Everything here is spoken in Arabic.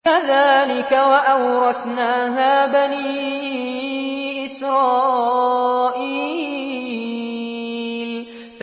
كَذَٰلِكَ وَأَوْرَثْنَاهَا بَنِي إِسْرَائِيلَ